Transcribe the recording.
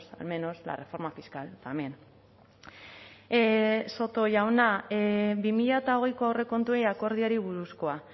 al menos la reforma fiscal también soto jauna bi mila hogeiko aurrekontuei akordioari buruzkoa